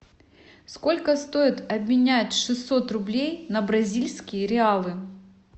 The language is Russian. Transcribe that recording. сколько стоит обменять шестьсот рублей на бразильские реалы